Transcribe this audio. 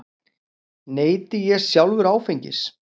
Neyti ég sjálfur áfengis?